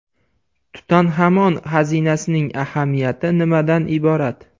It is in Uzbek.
Tutanxamon xazinasining ahamiyati nimadan iborat?